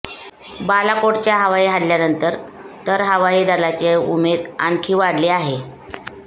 बालाकोटच्या हवाई हल्ल्यानंतर तर हवाई दलाची उमेद आणखी वाढली आहे